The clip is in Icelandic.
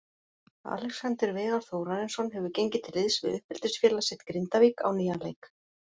Alexander Veigar Þórarinsson hefur gengið til liðs við uppeldisfélag sitt Grindavík á nýjan leik.